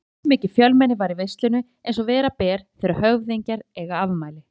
Allmikið fjölmenni var í veislunni eins og vera ber þegar höfðingjar eiga afmæli.